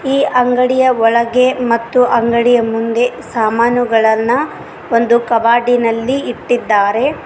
ಈ ಅಂಗಡಿಯ ಒಳಗೆ ಮತ್ತು ಅಂಗಡಿಯ ಮುಂದೆ ಸಾಮಾನುಗಳನ್ನ ಒಂದು ಕಬಾಡಿ೯ ನಲ್ಲಿ ಇಟ್ಟಿದ್ದಾರೆ.